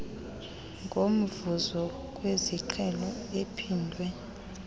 ngomvuzo wesiqhelo ophindwe